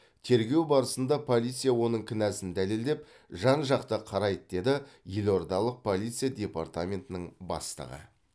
тергеу барысында полиция оның кінәсін дәлелдеп жан жақты қарайды деді елордалық полиция департаментінің бастығы